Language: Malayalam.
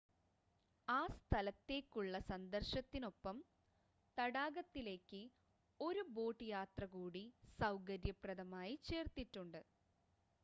ആ സ്ഥലത്തേക്കുള്ള സന്ദർശനത്തിനൊപ്പം തടാകത്തിലേക്ക് ഒരു ബോട്ട് യാത്ര കൂടി സൗകര്യപ്രദമായി ചേർത്തിട്ടുണ്ട്